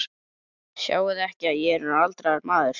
Sjáiði ekki að ég er orðinn aldraður maður?